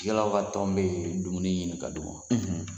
Yal'aw ka tɔn bɛ dumuni ɲinin ka d'u ma wa